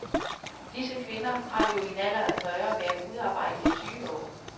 Disse kvinder har jo i en alder af fyrre været udearbejdende i tyve år.